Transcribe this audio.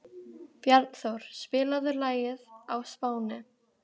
Bjarnþór, spilaðu lagið „Á Spáni“.